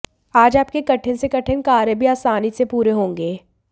आज आपके कठिन से कठिन कार्य भी आसानी से पूरे होंगे